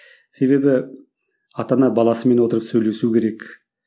себебі ата ана баласымен отырып сөйлесу керек